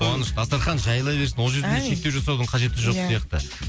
қуаныш дастархан жайыла берсін ол жерде шектеу жасаудың қажеті жоқ сияқты